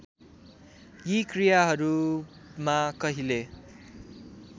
यी क्रियाहरूमा कहिले